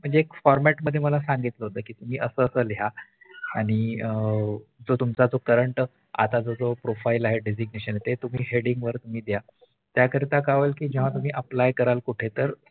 म्हणजे एक Format मध्ये मला सांगितलं होत कि असं असं लिहा आणि अं तुमचा जो Current आताच जो Profile आहे Designation आहे ते तुम्ही HEadind वर द्या त्या याकरिता काय होईल जेव्हा तुम्ही कुठें Aplly कराल कुठे तर